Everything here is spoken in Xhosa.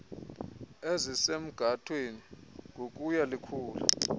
ezisemgathweni ngokuya likhula